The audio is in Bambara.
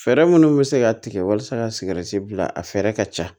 Fɛɛrɛ minnu bɛ se ka tigɛ walasa ka sigɛriti bila a fɛɛrɛ ka ca